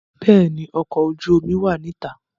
Béèni ọkọ̀ ojú omi mi wá ní ìta